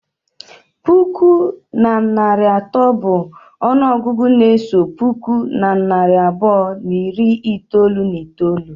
Puku na narị atọ bụ ọnụọgụgụ na-eso puku na narị abụọ na iri itolu na itolu.